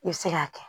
I bɛ se k'a kɛ